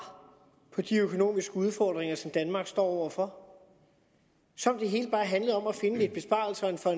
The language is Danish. på de økonomiske udfordringer som danmark står over for som om det hele bare handlede om at finde lidt besparelser for